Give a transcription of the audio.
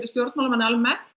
stjórnmálamenn almennt